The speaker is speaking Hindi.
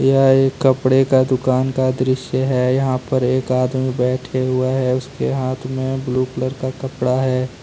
यह एक कपड़े का दुकान का दृश्य है यहां पर एक आदमी बैठे हुआ है उसके हाथ में ब्लू कलर का कपड़ा है।